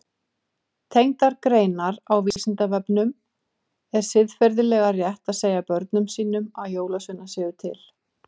Tengdar greinar á Vísindavefnum Er siðferðilega rétt að segja börnum sínum að jólasveinar séu til?